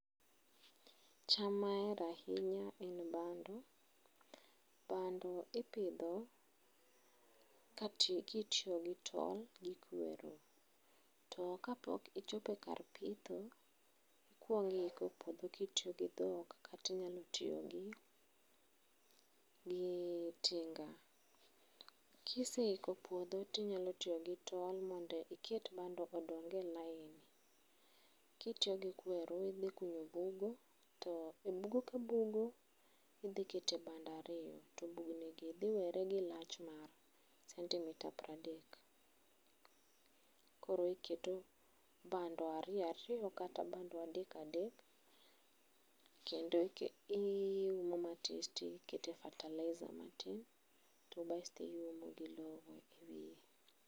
cham ma ahero ahinya en bando. Bando ipidho kati kitiyo gi tong' gi kweru. To kapok ichopo kar pitho, ikwong' iiko puodho kitiyo gi dhok katinyalo tiyo gi . Kiseiko puodho tinya tiyo gi tol mondo iket bando odong e line .Kitiyo gi kweru, idhi kunyo bugo to e bugo ka bugo ka bugo idhi kete bando ariyo to bugni gi dhi were gi lach mar centimetre pra dek. Koro iketo bando ariyo ariyo kata bando adek adek kendo ike iumo matis tikete fertilizer matis to basto iumo gi lowo e wiye.